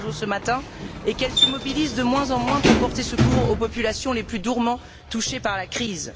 Barroso ce matin, et qu'elle se mobilise de moins en moins pour porter secours aux populations les plus durement touchées par la crise.